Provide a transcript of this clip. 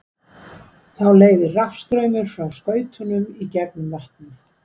þá leiðir rafstraumur frá skautunum í gegnum vatnið